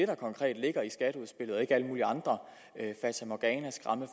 der konkret ligger i skatteudspillet og ikke alle mulige andre fatamorganaer